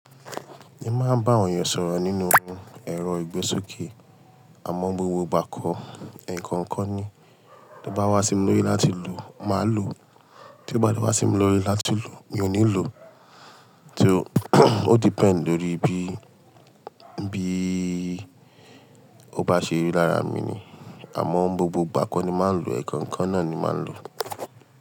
Èmi máa ń bá awon èeyàn sọ̀rọ̀ nínú ẹ̀rọ ìgbésókè. Àmọ́ ni gbogbo ìgbà kọ́, ẹ̀ẹ̀kan kan ni. Tí ó bá wá sí mi lórí láti lò, màá lò. Tí ó bá lọ wá sí mi lórí láti lò, mi ò ní lò. Tí ó ó depend lórí bí, bí ó bá ṣe rí lára mi ni. Àmọ́ n gbogbo ìgbà kọ́ ni màá ń lò ẹ̀ẹ̀kan kan náà ni màá ń lò.